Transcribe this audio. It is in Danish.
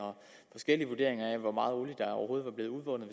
forskellige vurderinger af hvor meget olie der overhovedet var blevet udvundet